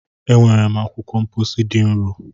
E nwere m akwụkwọ mkpọsi dị nro.